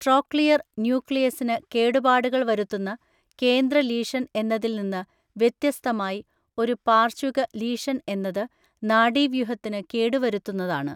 Trochlear ന്യൂക്ലിയസിന് കേടുപാടുകൾ വരുത്തുന്ന കേന്ദ്ര ലീഷന്‍ എന്നതിൽ നിന്ന് വ്യത്യസ്തമായി, ഒരു പാര്‍ശ്വിക ലീഷന്‍ എന്നത് നാഡീവ്യൂഹത്തിനു കേടുവരുത്തുന്നതാണ്.